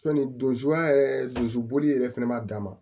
Sɔnni don suguya yɛrɛ donsuboli yɛrɛ fana ma dan ma